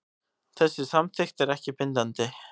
Þessi samþykkt er ekki bindandi